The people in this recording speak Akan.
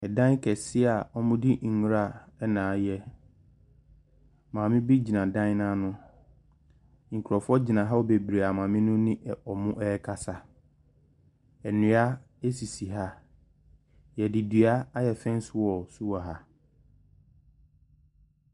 Ɛdan kɛseɛ a wɔde nwura na ayɛ. Maame bi gyina dan no ano. Nkurɔfoɔ gyina hɔ bebree a maame no ne wɔn rekasa. Nnua sisi ha. Wɔde dua ayɛ fɛn wall nso wɔ ha.